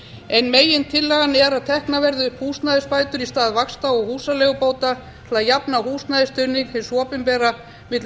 ein megintillagan er að teknar verði upp húsnæðisbætur í stað vaxta og húsaleigubóta til að jafna húsnæðisstuðning hins opinbera milli